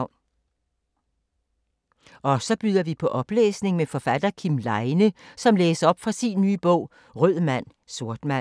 Og så byder vi på oplæsning med forfatter Kim Leine som læser op fra sin nye bog Rød Mand/Sort Mand.